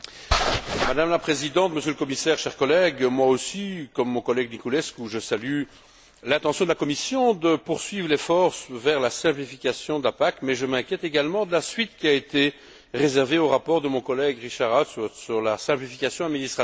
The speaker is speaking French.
Madame la Présidente, Monsieur le Commissaire, chers collègues, moi aussi, comme mon collègue Niculescu, je salue l'intention de la Commission de poursuivre l'effort vers la simplification de la PAC, mais je m'inquiète également de la suite qui a été réservée au rapport de mon collègue, Richard Ashworth, sur la simplification administrative.